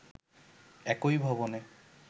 একই ভবনে